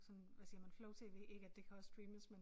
Sådan hvad siger man flow-tv ikke at det kan også streames men